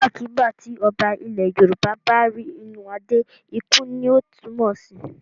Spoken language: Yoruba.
Nígbàkigbà tí Ọba ilẹ̀ Yorùbá bá rí inú adeé ikú ni ó túmọ̀ sí.